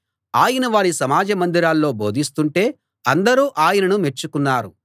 ఆయన వారి సమాజ మందిరాల్లో బోధిస్తుంటే అందరూ ఆయనను మెచ్చుకున్నారు